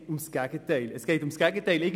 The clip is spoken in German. Doch das Gegenteil ist der Fall.